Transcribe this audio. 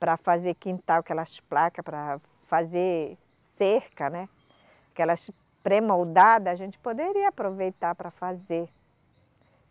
para fazer quintal, aquelas placas, para fazer cerca, né, aquelas premoldadas, a gente poderia aproveitar para fazer.